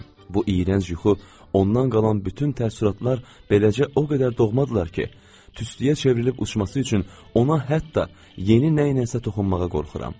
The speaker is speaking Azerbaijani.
Bu iyrənc yuxu, ondan qalan bütün təəssüratlar beləcə o qədər doğmadırlar ki, tüstüyə çevrilib uçması üçün ona hətta yeni nəyləsə toxunmağa qorxuram.